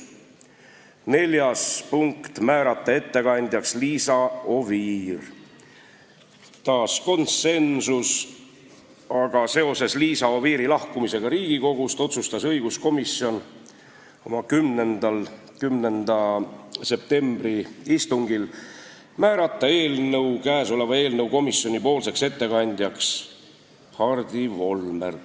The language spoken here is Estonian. Neljandaks, määrata ettekandjaks Liisa Oviir – taas konsensus, aga seoses Liisa Oviiri lahkumisega Riigikogust otsustas õiguskomisjon 10. septembri istungil määrata eelnõu komisjonipoolseks ettekandjaks Hardi Volmer.